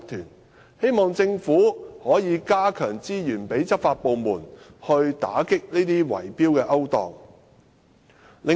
因此，我希望政府能增撥資源予執法部門，以打擊圍標的勾當。